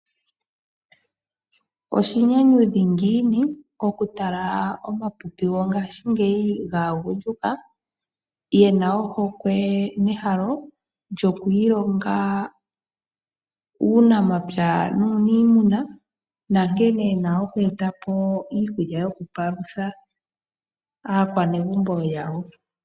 Oshinyanyudhi ngiini oku talà omapipi gongashingeyi gaagundjuka yena ohokwe yoku kutha ombinga muunamapya nuunimuna nankene yena okweetapo iikulya yokupalutha aakwanegumbo yawo.